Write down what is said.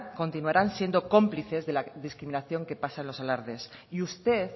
continuarán siendo cómplices de la discriminación que pasa en los alardes y usted